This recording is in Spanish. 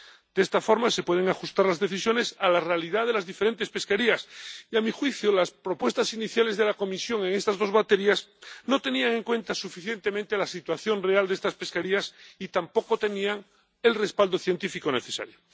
De esta forma se pueden ajustar las decisiones a la realidad de las diferentes pesquerías ya que, a mi juicio, las propuestas iniciales de la Comisión en estas dos baterías no tenían en cuenta suficientemente la situación real de estas pesquerías y tampoco tenían el respaldo científico necesario.